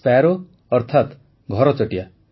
sparrow ଅର୍ଥାତ ଘରଚଟିଆ